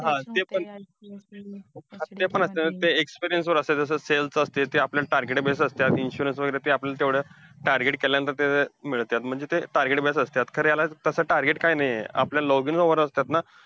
हा ते पण. हा ते पण असतंय ते experience वर असतंय, जसं sells वर असतंय ते आपल्या target base असत्या. Insurance वगैरे ते आपण तेवढ्या, target केल्यांनतर ते मिळत्यात म्हणजे ते target based असत्यात, तर याला तसं target काय नाहीये आपल्याला login hour असतात ना.